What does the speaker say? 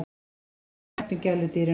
Okkur þykir vænt um gæludýrin okkar.